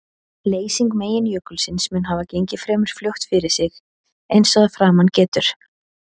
Leysing meginjökulsins mun hafa gengið fremur fljótt fyrir sig eins og að framan getur.